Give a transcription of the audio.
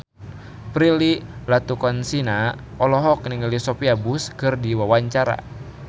Prilly Latuconsina olohok ningali Sophia Bush keur diwawancara